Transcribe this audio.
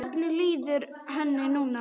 Hvernig líður henni núna?